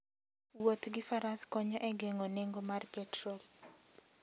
Wuoth gi Faras konyo e geng'o nengo mar petrol.